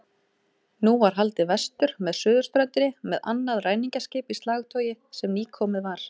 Nú var haldið vestur með suðurströndinni með annað ræningjaskip í slagtogi sem nýkomið var.